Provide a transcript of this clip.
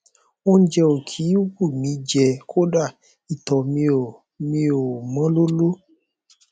óúnjẹ ò kí ń wù mí í jẹ kódà ìtọ mi ò mi ò mọ lóló